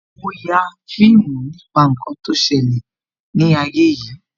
Mo ya fíìmù nípa ǹkan tó ṣẹlẹ̀ ni ayé yìí